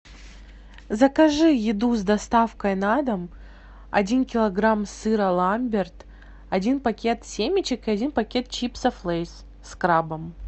закажи еду с доставкой на дом один килограмм сыра ламберт один пакет семечек и один пакет чипсов лейс с крабом